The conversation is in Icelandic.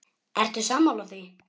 Ertu sammála því?